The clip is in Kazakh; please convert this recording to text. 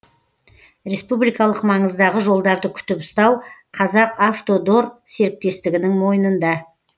республикалық маңыздағы жолдарды күтіп ұстау қазақавтодор серіктестігінің мойнында